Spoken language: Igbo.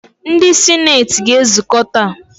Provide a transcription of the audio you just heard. Ndị sineeti ga-ezukọ taa.